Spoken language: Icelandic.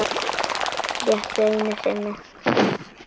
Rétt einu sinni.